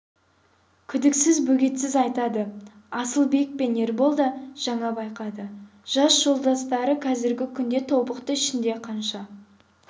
күдіксіз бөгетсіз айтады асылбек пен ербол да жаңа байқады жас жолдастары қазіргі күнде тобықты ішінде қанша